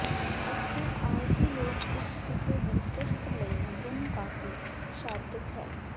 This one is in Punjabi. ਅਤੇ ਆਲਸੀ ਲੋਕ ਕੁਝ ਕਿੱਸੇ ਦੀ ਸਿਫਤ ਇਸ ਗੁਣ ਕਾਫ਼ੀ ਸ਼ਾਬਦਿਕ ਹੈ